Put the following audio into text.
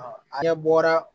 An bɔra